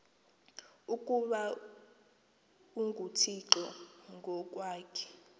ukuba unguthixo ngokwakhe